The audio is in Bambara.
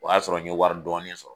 O y'a sɔrɔ n ye wari dɔɔni sɔrɔ.